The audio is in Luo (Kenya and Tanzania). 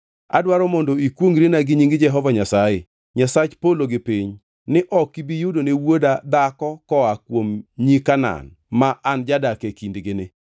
Adwaro mondo ikwongʼrina gi nying Jehova Nyasaye, Nyasach polo kod piny ni ok ibi yudone wuoda dhako koa kuom nyi Kanaan ma an jadak e kindgini,